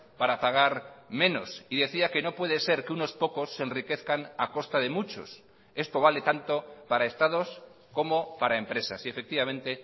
para pagar menos y decía que no puede ser que unos pocos se enriquezcan a costa de muchos esto vale tanto para estados como para empresas y efectivamente